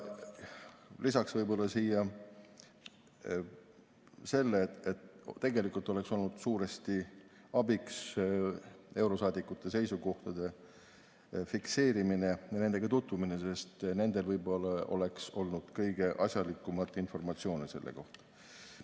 Lisaksin siia selle, et tegelikult oleks olnud suuresti abiks eurosaadikute seisukohtade fikseerimine ja nendega tutvumine, sest nendel oleks võib-olla olnud kõige asjalikumat informatsiooni selle kohta.